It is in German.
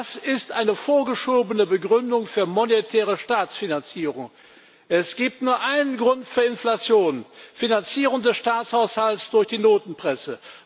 Das ist eine vorgeschobene Begründung für monetäre Staatsfinanzierung. Es gibt nur einen Grund für Inflation Finanzierung des Staatshaushalts durch die Notenpresse.